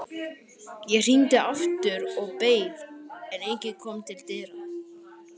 Ég hringdi aftur og beið, en enginn kom til dyra.